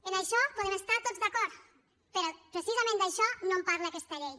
en això podem estar tots d’acord però precisament d’això no en parla aquesta llei